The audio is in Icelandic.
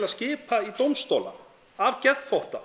skipa í dómstóla af geðþótta